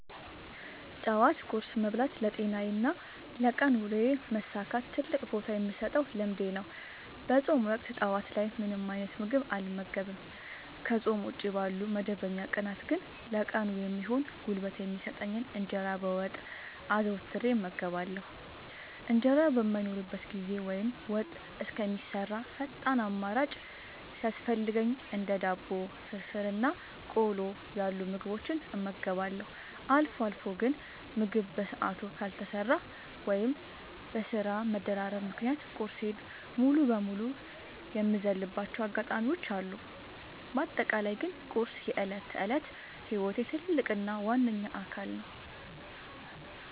ጠዋት ቁርስ መብላት ለጤናዬና ለቀን ውሎዬ መሳካት ትልቅ ቦታ የምሰጠው ልምዴ ነው። በፆም ወቅት ጠዋት ላይ ምንም አይነት ምግብ አልመገብም። ከፆም ውጪ ባሉ መደበኛ ቀናት ግን ለቀኑ የሚሆን ጉልበት የሚሰጠኝን እንጀራ በወጥ አዘውትሬ እመገባለሁ። እንጀራ በማይኖርበት ጊዜ ወይም ወጥ እስከሚሰራ ፈጣን አማራጭ ሲያስፈልገኝ እንደ ዳቦ፣ ፍርፍር እና ቆሎ ያሉ ምግቦችን እመገባለሁ። አልፎ አልፎ ግን ምግብ በሰዓቱ ካልተሰራ ወይም በስራ መደራረብ ምክንያት ቁርሴን ሙሉ በሙሉ የምዘልባቸው አጋጣሚዎች አሉ። በአጠቃላይ ግን ቁርስ የዕለት ተዕለት ህይወቴ ትልቅ እና ዋነኛ አካል ነው።